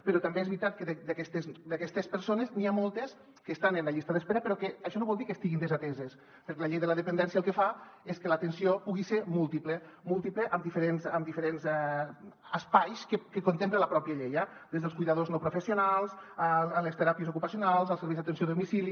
però tam·bé és veritat que d’aquestes persones n’hi ha moltes que estan en la llista d’espera però això no vol dir que estiguin desateses perquè la llei de la dependència el que fa és que l’atenció pugui ser múltiple múltiple en diferents espais que contempla la pròpia llei eh des dels cuidadors no professionals a les teràpies ocupacionals els serveis d’atenció a domicili